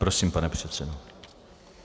Prosím, pane předsedo.